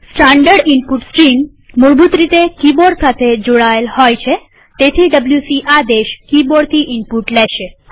standard input stream મૂળભૂત રીતે keyboard સાથે જોડાયેલ હોય છેતેથી ડબ્લ્યુસી આદેશ કિબોર્ડથી ઈનપુટ લેશે